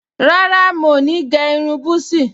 Rárá, mo ní gẹ́ irun búsí